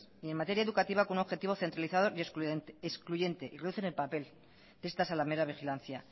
y en materia educativa con un objetivo centralizado y excluyente y reducen el papel de esta zalamera vigilancia